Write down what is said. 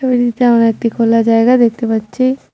ছবিতে আমরা একতি খোলা জায়গা দেখতে পাচ্চি।